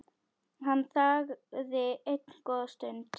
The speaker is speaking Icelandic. Hann þagði enn góða stund.